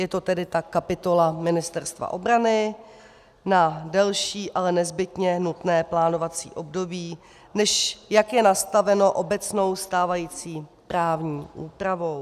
Je to tedy ta kapitola Ministerstva obrany na delší, ale nezbytně nutné plánovací období, než jak je nastaveno obecnou stávající právní úpravou.